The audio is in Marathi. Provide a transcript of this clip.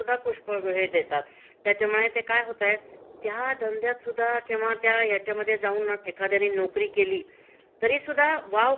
तश्या विशिष्ट प्रकारच कौशल्य लागता. हं. आणि तो एक म्हणजे कस असता ठराविक काळापुरता तो व्यवसाय असतो.